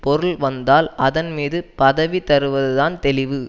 பொருள் வந்தால் அதன்மீது பதவி தருவதுதான் தெளிவு